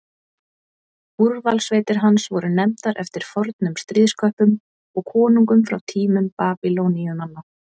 Úrvalssveitir hans voru nefndar eftir fornum stríðsköppum og konungum frá tímum Babýloníumanna.